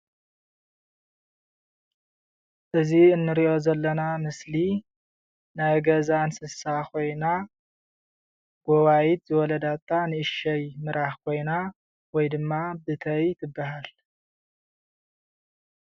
እዚ እንሪኦ ዘለና ምስሊ ናይ ገዛ እንስሳ ኮይና ብጋይት ዝወለደታ ን እሽተይ ምራክ ኮይና ወይ ድማ ብተይ ትበሃል::